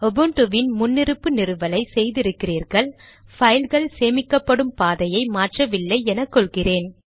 உபுன்டுவின் முன்னிருப்பு நிறுவலை செய்திருக்கிறீர்கள் பைல்கள் சேமிக்கப்படும் பாதையை மாற்றவில்லை என கொள்கிறேன்